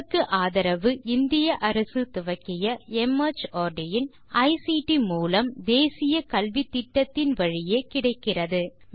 இதற்கு ஆதரவு இந்திய அரசு துவக்கிய மார்ட் இன் ஐசிடி மூலம் தேசிய கல்வித்திட்டத்தின் வழியே கிடைக்கிறது